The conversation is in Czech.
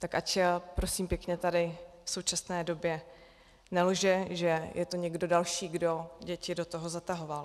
Tak ať, prosím pěkně, tady v současné době nelže, že to je někdo další, kdo děti do toho zatahoval.